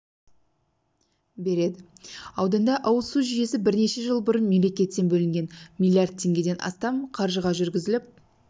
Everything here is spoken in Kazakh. береді ауданда ауыз су жүйесі бірнеше жыл бұрын мемлекеттен бөлінген миллиард теңгеден астам қаржыға жүргізіліп